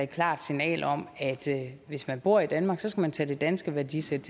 klart signal om at hvis man bor i danmark så skal man tage det danske værdisæt